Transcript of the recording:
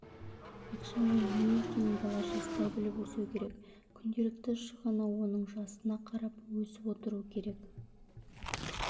ақшаның не екенін бала жастай біліп өсуі керек күнделікті шығыны оның жасына қарап өсіп отыру керек